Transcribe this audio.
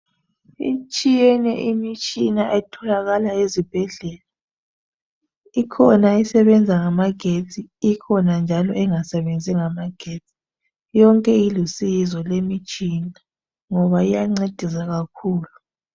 Itshiyene imitshina etholakala ezibhedlela. Ikhona esebenza ngamagesti ikhona njalo engasebenzi ngamagesti. Yonke ilusizo lemitshina ngoba iyancedisa kakhulu